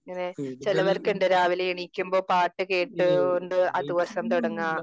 ഇങ്ങനെ ചിലവർക്ക് ഉണ്ട്. ഇങ്ങനെ രാവിലെ എണീക്കുമ്പോ പാട്ട് കേട്ട് കൊണ്ട് ആ ദിവസം തുടങ്ങുക,